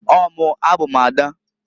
Ọọ mụǃ A bụ m ada.